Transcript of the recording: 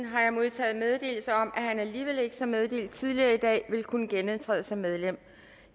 har jeg modtaget meddelelse om at han alligevel ikke som meddelt tidligere i dag vil kunne genindtræde som medlem